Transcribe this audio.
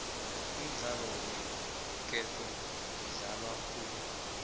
umdlalo weenketo udlalwa khulu bentazana